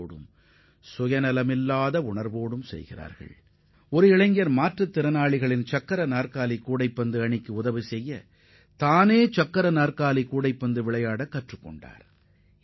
ஆனால் சக்கர நாற்காலியில் அமர்ந்து கொண்டு கூடைப்பந்து விளையாட கற்றுக் கொள்ளும் ஒருவர் மாற்றுத் திறனாளிகள் பங்கேற்கும் சக்கர நாற்காலி கூடைப்பந்து அணிக்கும் மாற்றுத் திறனாளி விளையாட்டு வீரர்களுக்கும் உதவ முடியும்